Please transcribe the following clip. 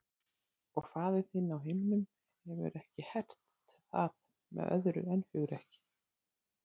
Og faðir þinn á himnum hefur ekki hert það með öðru en hugrekki.